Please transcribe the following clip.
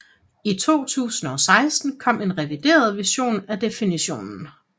I 2016 kom en revideret version af definitionen